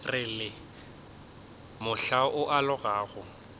re le mohla o alogago